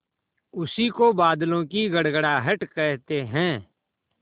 उसी को बादलों की गड़गड़ाहट कहते हैं